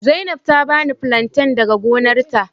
Zainab ta bani flanten daga gonarta.